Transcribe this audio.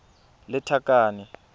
lethakane